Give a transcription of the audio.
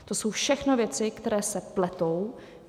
To jsou všechno věci, které se pletou.